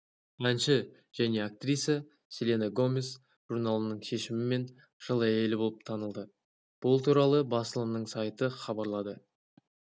әнші және актриса селена гомес журналының шешімімен жыл әйелі болып танылды бұл туралы басылымның сайты хабарлады